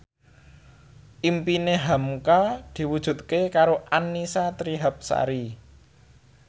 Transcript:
impine hamka diwujudke karo Annisa Trihapsari